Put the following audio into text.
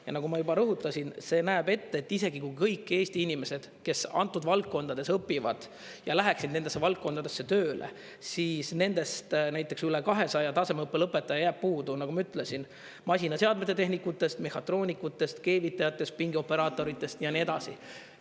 Ja nagu ma juba rõhutasin, see näeb ette, et isegi kui kõik Eesti inimesed, kes antud valdkondades õpivad ja läheksid nendesse valdkondadesse tööle, siis nendest näiteks üle 200 tasemeõppelõpetaja jääb puudu, nagu ma ütlesin, masinaseadmete tehnikutest, mehhatroonikutest, keevitajatest, pingioperaatoritest ja nii edasi.